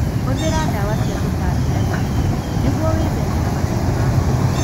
Hũthĩra ndawa cia tũtambi na gĩthimi nĩguo gwĩthema na mathĩna ma mwĩrĩ.